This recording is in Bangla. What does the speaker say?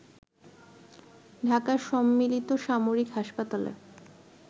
ঢাকার সম্মিলিত সামরিক হাসপাতালে